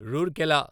Rourkela